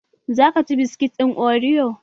Za ka ci biskit ɗin oriyo?